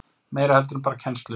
Meira heldur en bara kennslu.